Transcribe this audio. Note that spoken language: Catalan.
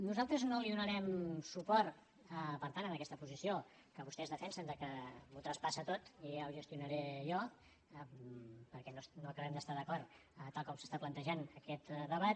nosaltres no hi donarem suport per tant en aquesta posició que vostès defensen de que m’ho traspassa tot i ja ho gestionaré jo perquè no acabem d’estar d’acord tal com s’està plantejant aquest debat